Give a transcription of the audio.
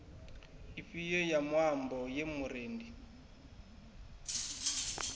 ifhio ya muambo ye murendi